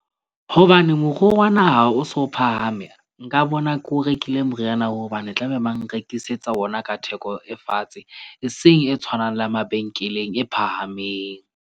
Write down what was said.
Hobane moruo wa naha o so phahame, nka bona ko o rekile moriana oo, hobane tlabe bang nrekisetsa ona ka theko e fatshe e seng e tshwanang le ya mabenkeleng e phahameng.